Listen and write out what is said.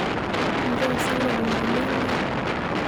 inchoo sa ilukunguni endaa?